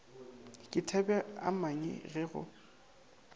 ke thabeamanyi ka ge go